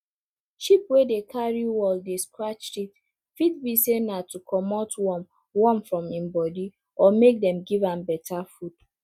sheep wey dey carry wall scratch teeth fit be say na to comot worm worm from im body or make dem give am beta food